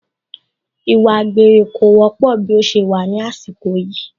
Ìwà àgbèrè kò wọ́pọ̀ bí ó ṣe wà ní àsìkò yìí